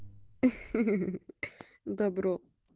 добро